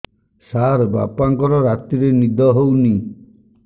ସାର ବାପାଙ୍କର ରାତିରେ ନିଦ ହଉନି